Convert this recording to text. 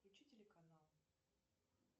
включи телеканал